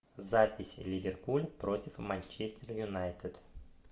запись ливерпуль против манчестер юнайтед